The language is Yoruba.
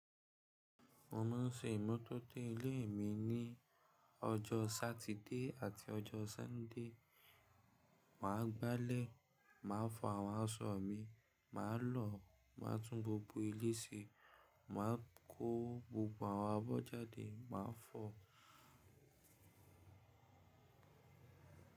Mo máa ń ṣe ìmọtóto ilé mi ní ọjọ́ Sátidé àti ọjọ́ Sunday. Máa gbálẹ̀, màá fọ àwọn aṣọ mi, màá lọ, màá tún gbogbo ilé ṣe, màá kó gbogbo àwọn abọ́ jáde, màá fọ.